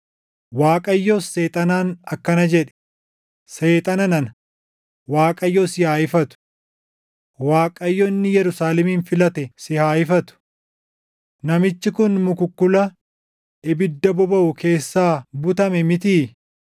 Waaqayyos Seexanaan akkana jedhe; “Seexana nana, Waaqayyo si haa ifatu! Waaqayyo inni Yerusaalemin filate si haa ifatu! Namichi kun mukukkula ibidda bobaʼu keessaa butame mitii?”